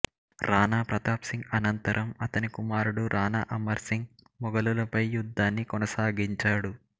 రాణా ప్రతాప్ సింగ్ అనంతరం అతని కుమారుడు రాణా అమర్ సింగ్ మొఘలులపై యుద్ధాన్ని కొనసాగించాడు